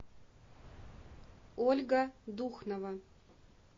ольга духнова